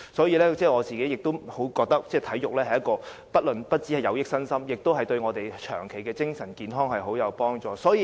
而我自己亦覺得體育不單有益身心，也有助我們長期的精神健康。